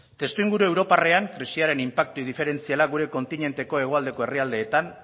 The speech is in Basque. testuinguru europarrean krisiaren inpaktu inferentziala gure kontinenteko hegoaldeko herrialdeetan